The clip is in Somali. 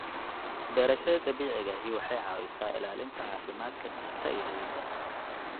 Beerashada dabiiciga ahi waxay caawisaa ilaalinta caafimaadka dhirta iyo ciidda.